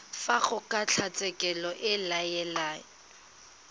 fa kgotlatshekelo e ka laela